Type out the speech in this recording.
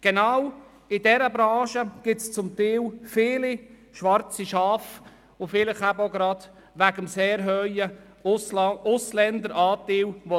Gerade in dieser Branche gibt es zum Teil viele schwarze Schafe, vielleicht auch wegen des sehr hohen Ausländeranteils.